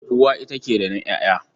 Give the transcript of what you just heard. Uwa ita ke rainon ƴaƴa.